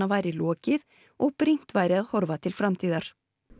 væri lokið og brýnt væri að horfa til framtíðar